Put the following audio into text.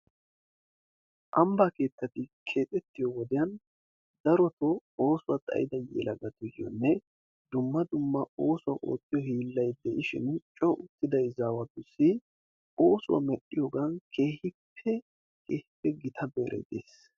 Ambaa keettati keexettiyo wodiyan daro yelagatuyoonne dumma dumma oosuwa oottiyo hiillay de'ishin coo uttida izaawatussi oosuwa medhiyoogan keehippe gitta go'ay des.